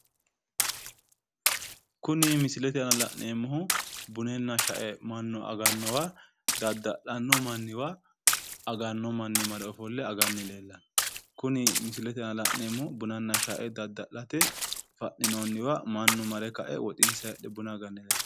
Kuni misilete aana la'neemmohu bununna shae mannu agannowa dadda'lanno manniwa aganno manni mare ofolle aganni leellanno. Kuni misilete aana la'neemmohu bununna shae dadda'late fa'ninoonniwa mannu mare kae woxinsayi hidhe buna aganni leellanno.